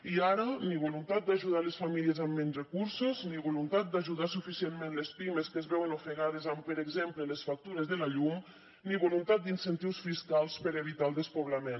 i ara ni voluntat d’ajudar les famílies amb menys recursos ni voluntat d’ajudar suficientment les pimes que es veuen ofegades amb per exemple les factures de la llum ni voluntat d’incentius fiscals per evitar el despoblament